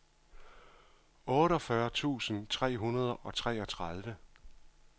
otteogfyrre tusind tre hundrede og treogtredive